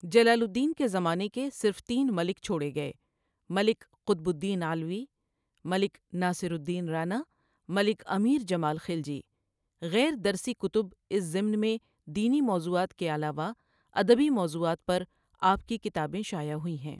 جلال الدین کے زمانے کے صرف تین مَلِک چھوڑے گئے ملک قطب الدین علوی، ملک ناصر الدین رانا، ملک امیر جمال خلجی غیر درسی کتب اس ضمن میں دینی موضوعات کے علاوہ ادبی موضوعات پر آپ کی کتابیں شائع ہوئی ہیں۔